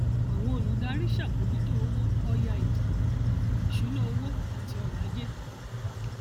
àwọn olùdarí ṣàbòójútó owó ọya ètò ìṣúnná owó àti ọrọ ajé